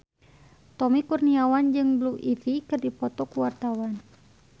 Tommy Kurniawan jeung Blue Ivy keur dipoto ku wartawan